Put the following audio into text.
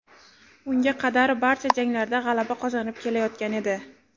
Unga qadar barcha janglarda g‘alaba qozonib kelayotgan edi.